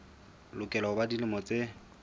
lokela ho ba dilemo tse